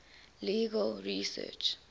legal research